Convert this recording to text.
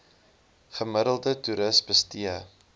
gemiddelde toeris bestee